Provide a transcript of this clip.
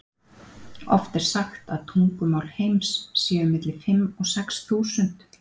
Oft er sagt að tungumál heims séu milli fimm og sex þúsund.